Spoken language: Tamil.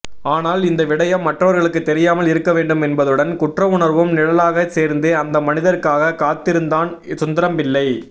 ஆனால் இந்த விடயம் மற்றவர்களுக்கு தெரியாமல் இருக்கவேண்டும் என்பதுடன் குற்றவுணர்வும் நிழலாக சேர்ந்து அந்த மனிதருக்காக காத்திருந்தான் சுந்தரம்பிள்ளை